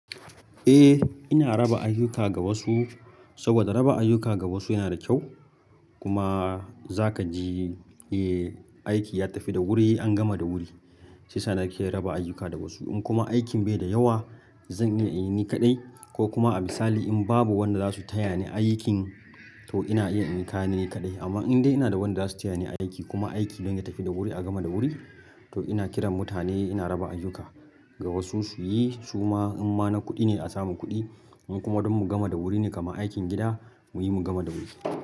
Eh ina raba ayyuka ga wasu saboda raba ayyuka ga wasu yana da kyau kuma za ka ji eh aiki ya tafi da wuri an gama da wuri. Shiyasa na ke raba ayyuka da wasu in kuma aikin bai da yawa zan iya in yi ni kaɗai ko kuma a misali in babu wanda zasu taya ni aikin to ina iya in yi ka ni ne kaɗai. Amma in dai ina da wanda zasu taya ni aiki kuma aikin mai tafi da wuri a gama da wuri to ina kiran mutane ina raba ayyuka ga wasu su yi su ma in ma na kuɗi ne a samu kuɗi in kuma don mu gama da wuri ne kamar aikin gida muyi mu gama da wuri.